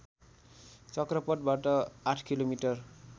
चक्रपथबाट आठ किलोमिटर